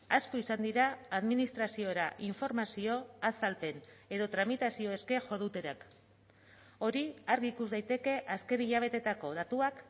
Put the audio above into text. asko izan dira administraziora informazio azalpen edo tramitazio eske jo dutenak hori argi ikus daiteke azken hilabeteetako datuak